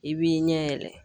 I b'i ɲɛ yɛlɛ